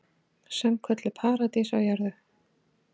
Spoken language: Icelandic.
Sannkölluð paradís á jörðu.